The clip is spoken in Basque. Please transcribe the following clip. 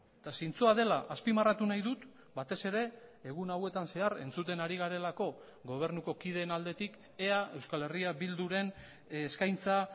eta zintzoa dela azpimarratu nahi dut batez ere egun hauetan zehar entzuten ari garelako gobernuko kideen aldetik ea euskal herria bilduren eskaintza